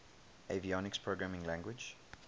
avionics programming language